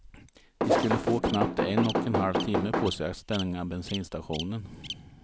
De skulle få knappt en och en halv timme på sig att stänga bensinstationen.